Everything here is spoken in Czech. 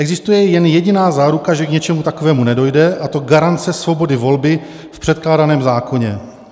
Existuje jen jediná záruka, že k něčemu takovému nedojde, a to garance svobody volby v předkládaném zákoně.